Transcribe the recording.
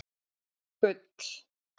Gull